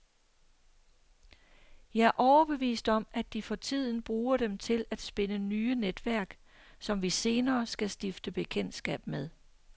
Jeg er overbevist om, at de for tiden bruger dem til at spinde nye netværk, som vi senere skal stifte bekendtskab med.